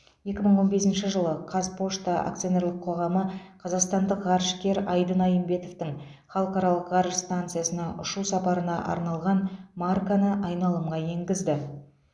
екі мың он бесінші жылы қазпошта акционерлік қоғамы қазақстандық ғарышкер айдын айымбетовтің халықаралық ғарыш станциясына ұшу сапарына арналған марканы айналымға енгізді